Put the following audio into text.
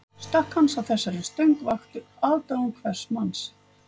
Stökk hans á þessari stöng vöktu aðdáun hvers manns